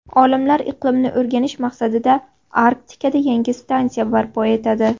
Olimlar iqlimni o‘rganish maqsadida Arktikada yangi stansiya barpo etadi.